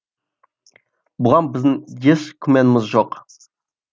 бұған біздің еш күмәніміз жоқ